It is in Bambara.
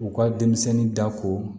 U ka denmisɛnnin da ko